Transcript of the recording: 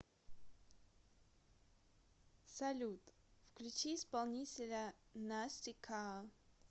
салют включи исполнителя настика